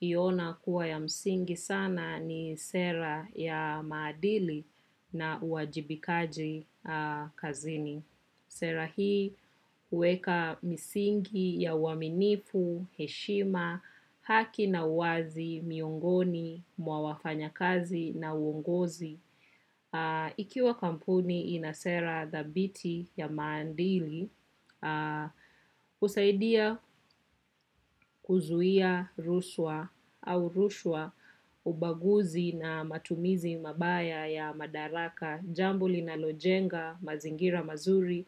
iona kuwa ya msingi sana ni sera ya maadili na uajibikaji kazini. Sera hii uweka msingi ya waminifu, heshima, haki na uwazi, miongoni, mwa wafanya kazi na uongozi. Ikiwa kampuni inasera dhabiti ya maandili, usaidia kuzuia ruswa au rushwa ubaguzi na matumizi mabaya ya madaraka jambo lina lojenga mazingira mazuri